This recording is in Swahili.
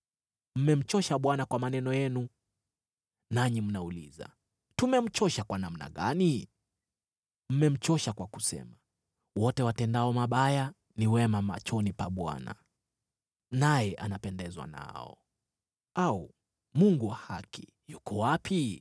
Mmemchosha Bwana kwa maneno yenu. Nanyi mnauliza, “Tumemchosha kwa namna gani?” Mmemchosha kwa kusema, “Wote watendao mabaya ni wema machoni pa Bwana , naye anapendezwa nao” au “Mungu wa haki yuko wapi?”